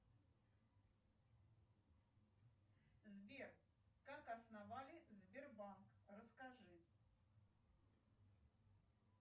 сбер как основали сбербанк расскажи